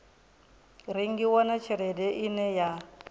rengiwa na tshelede ine ya